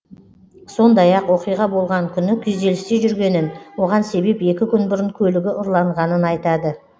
сондай ақ оқиға болған күні күйзелісте жүргенін оған себеп екі күн бұрын көлігі ұрланғанын айтады